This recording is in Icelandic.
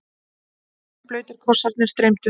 Rennblautir kossarnir streymdu.